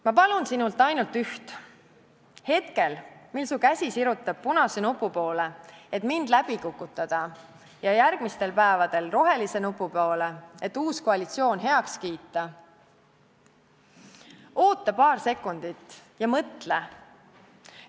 Ma palun sinult ainult üht: hetkel, mil su käsi sirutub punase nupu poole, et mind läbi kukutada, ja järgmistel päevadel rohelise nupu poole, et uus koalitsioon heaks kiita, oota paar sekundit ja mõtle!